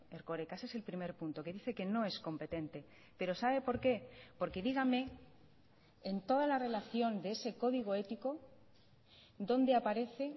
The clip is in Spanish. erkoreka ese es el primer punto que dice que no es competente pero sabe por qué porque dígame en toda la relación de ese código ético dónde aparece